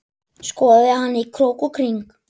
Skoðaði hana í krók og kring.